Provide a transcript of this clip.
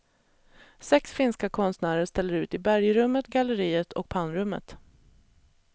Sex finska konstnärer ställer ut i bergrummet, galleriet och pannrummet.